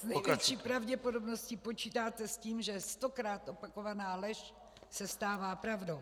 S největší pravděpodobností počítáte s tím, že stokrát opakovaná lež se stává pravdou.